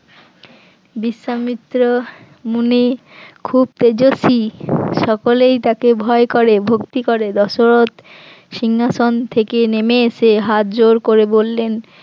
বিশ্বামিত্র মুনি খুব তেজস্বী সকলেই তাকে ভয় করে ভক্তি করে, দশরথ সিংহাসন থেকে নেমে এসে হাতজোড় করে বললেন